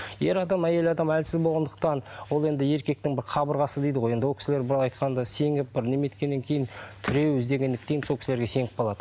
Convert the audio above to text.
ер адам әйел адам әлсіз болғандықтан ол енді еркектің бір қабырғасы дейді ғой енді ол кісілер былай айтқанда сеніп бір кейін тіреу іздегендіктен сол кісілерге сеніп қалады